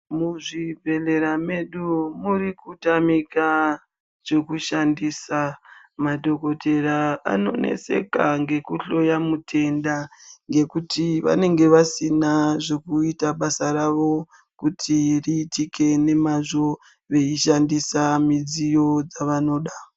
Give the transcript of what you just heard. Muzvibhedhlera medu muri kutamika zvekushandisa. Madhokotera anoneseka ngekuhloya mutenda ngekuti vanenge vasina zvekuita basa ravo kuti riitike nemazvo veishandisa midziyo dzavanoda.